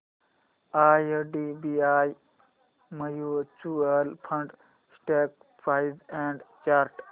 IDBI mutual fund stock price and chart